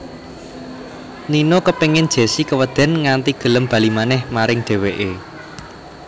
Nino kepéngin Jessi kewedèn nganti gelem bali manèh maring dhèwèké